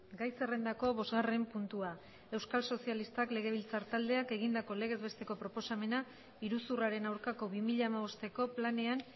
gai zerrendako bosgarren puntua euskal sozialistak legebiltzar taldeak egindako legez besteko proposamena iruzurraren aurkako bi mila hamabosteko planean